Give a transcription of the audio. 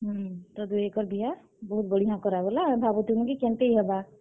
ହୁଁ, ତ ଦୁହେକର୍ ବିହା ବହୁତ୍ ବଢିଆଁ କରାଗଲା। ଆମେ ଭାବୁଥିଲୁଁ କି କେନ୍ତେଇ ହେବା।